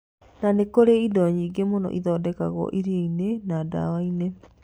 Na nĩ kũrĩ indo nyingĩ mũno ithondekagwo irio-inĩ na ndawa-inĩ.